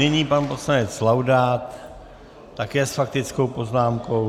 Nyní pan poslanec Laudát také s faktickou poznámkou.